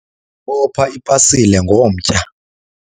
bopha ipasile ngomtya